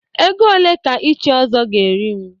Ego ole ka ịchị Ọzọ ga-eri m.